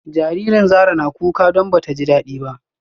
Jaririn Zara na kuka don bata ji dadi ba